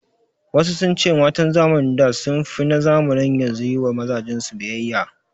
Wasu sun ce matan zamanin da sun fi na zamanin yanzu yi wa mazajen su biyayya